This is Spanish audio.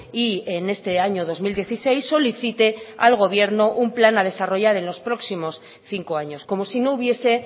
y en este año dos mil dieciséis solicite al gobierno un plan a desarrollar en los próximos cinco años como si no hubiese